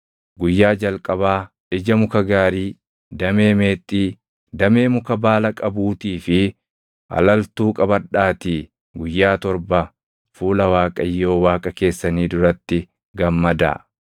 Guyyaa jalqabaa ija muka gaarii, damee meexxii, damee muka baala qabuutii fi alaltuu qabadhaatii guyyaa torba fuula Waaqayyo Waaqa keessanii duratti gammadaa.